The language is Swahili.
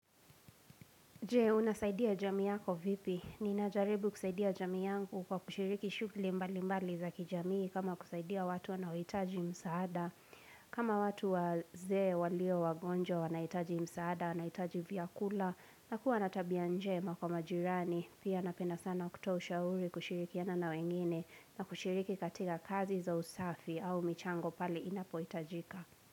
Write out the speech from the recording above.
Je, unasaidia jamii yako vipi? Ninajaribu kusaidia jamii yangu kwa kushiriki shughuli mbali mbali za kijamii kama kusaidia watu wanaohitaji msaada. Kama watu wazee walio wagonjwa wanahitaji msaada, wanahitaji vyakula, na kuwa na tabia njema kwa majirani. Pia napenda sana kutoa ushauri kushirikiana na wengine na kushiriki katika kazi za usafi au michango pale inapohitajika.